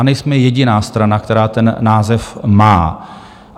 A nejsme jediná strana, která ten název má.